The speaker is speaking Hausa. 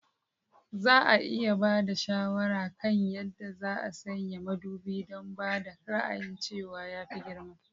Za a iya ba da shawara kan yadda za a sanya madubi don ba da ra'ayin cewa ya fi girma?